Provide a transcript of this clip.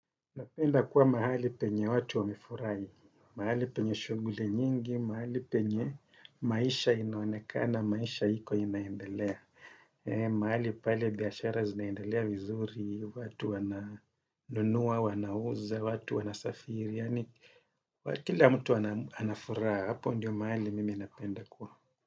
Napenda kuwa mahali penye watu wamefurahi, mahali penye shughli nyingi, mahali penye maisha inaonekana, maisha iko inaendelea, mahali pale biashara zinaendelea vizuri, watu wana nunua, wanauza, watu wanasafiri, yaani kila mtu anafuraha, hapo ndio mahali mimi napenda kuwa.